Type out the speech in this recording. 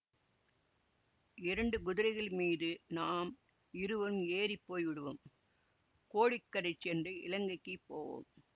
இரண்டு குதிரைகள் மீது நாம் இருவரும் ஏறி போய் விடுவோம் கோடிக்கரை சென்று இலங்கைக்கு போவோம்